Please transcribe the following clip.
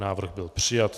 Návrh byl přijat.